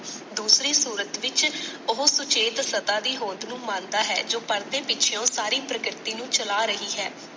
ਦੂਸਰੀ ਸੂਰਤ ਵਿਚ ਓਹੋ ਸੁਚੇਤ ਸਤਾ ਦੀ ਹੋਂਦ ਨੂੰ ਮੰਨਦਾ ਹੈ ਜੋ ਪਰਦੇ ਪਿੱਛਓ ਸਾਰੀ ਪ੍ਰਕ੍ਰਿਤੀ ਨੂੰ ਚਲਾ ਰਹੀ ਹੈ।